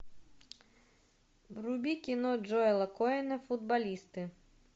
вруби кино джоэла коэна футболисты